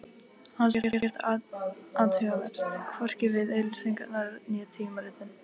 Hann sá ekkert athugavert, hvorki við auglýsingarnar né tímaritin.